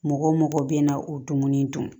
Mɔgɔ mɔgɔ bɛ na o dumuni dun